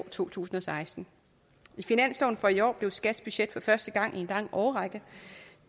to tusind og seksten i finansloven for i år er skats budget for første gang i en lang årrække